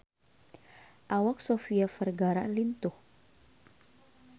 Awak Sofia Vergara lintuh